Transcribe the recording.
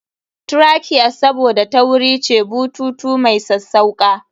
Trachea's Saboda tauri ce, bututu mai sassauƙa.